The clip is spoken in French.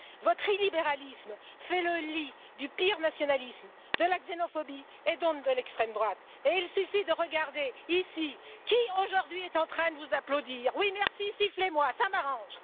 Votre illibéralisme fait le lit du pire nationalisme, de la xénophobie et donc de l'extrême droite, et il suffit de regarder ici qui, aujourd'hui, est en train de vous applaudir. Oui, merci, sifflez moi, cela m'arrange.